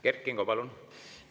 Kert Kingo, palun!